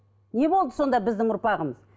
не болды сонда біздің ұрпағымыз